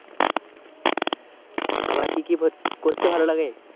আমার কি কি করতে ভালো লাগে।